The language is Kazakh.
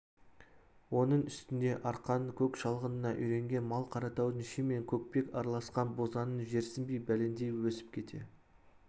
оның үстіне арқаның көк шалғынына үйренген мал қаратаудың ши мен көкпек араласқан бозаңын жерсінбей бәлендей өрбіп өсіп кете